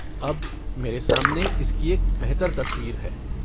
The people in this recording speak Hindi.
अब मेरे सामने इसकी एक बेहतर तस्वीर है।